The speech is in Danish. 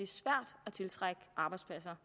er tiltrække arbejdspladser